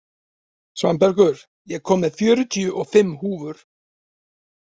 Svanbergur, ég kom með fjörutíu og fimm húfur!